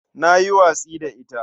Na yi watsi da ita.